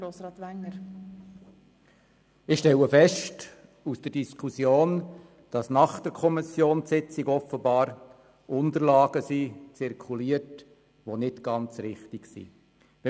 der SiK. Ich stelle aus der Diskussion fest, dass offenbar nach der Kommissionssitzung Unterlagen zirkulierten, welche nicht ganz richtig sind.